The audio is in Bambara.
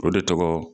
O de tɔgɔ